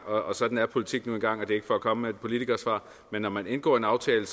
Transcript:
og sådan er politik nu engang og det er ikke for at komme med et politikersvar men når man indgår en aftale